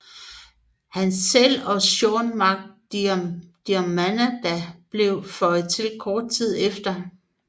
Han selv og Séan Mac Diarmada blev føjet til kort tid efter